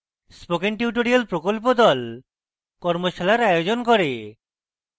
spoken tutorial প্রকল্প the কর্মশালার আয়োজন করে